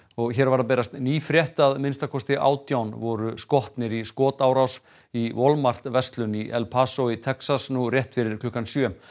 og hér var að berast ný frétt að minnsta kosti átján voru skotnir í skotárás í verslun í El Paso í Texas nú rétt fyrir klukkan sjö